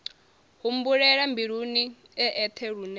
humbulela mbiluni e eṱhe lune